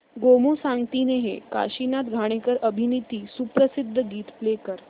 गोमू संगतीने हे काशीनाथ घाणेकर अभिनीत सुप्रसिद्ध गीत प्ले कर